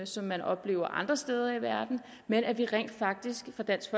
som man oplever andre steder i verden men at vi rent faktisk fra dansk